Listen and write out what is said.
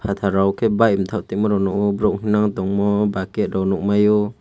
fatar rok unkke bike tama te borok rw tongo bucket nukmaio.